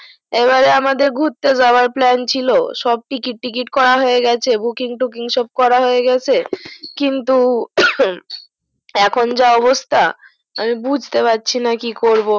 এবারে আমাদের গুরতে যাওয়ার plan ছিল সব ticket tickit করা হয়েগেছে booking tooking সব করা হয়েগেছে কিন্তু এখন যা অবস্থা আমি বুঝতে পারছিনা কি করবো